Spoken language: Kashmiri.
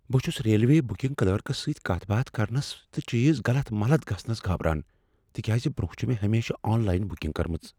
بہٕ چھُس ریلوے بکنگ کلرکس سۭتۍ کتھ باتھ کرنس تہٕ چیز غلط ملت گژھنس گابران ، تہِ كیازِ برونہہ چھ مے٘ ہمیشہٕ آن لاین بُکنگ کٕرمٕژ ۔